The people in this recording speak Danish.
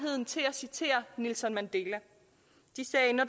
citere nelson mandela de sagde når